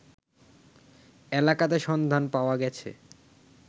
এলাকাতে সন্ধান পাওয়া গেছে